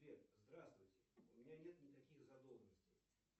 сбер здравствуйте у меня нет никаких задолженностей